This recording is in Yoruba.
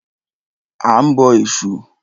A ń bọ Ẹ̀sù.